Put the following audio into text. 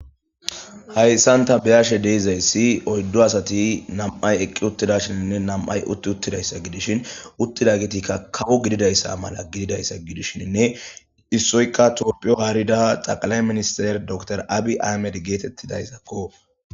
hayssanta biyashe deezayssi oyddo asati nam7ay eqqi uttida shininne nam7ay utti uttidayssa gidishin uttida gitikka kawo gididayssa mala gididayssa gidishinne issoykka toopphiyo haarida xaqalay minister door abi amed geetettidayszakko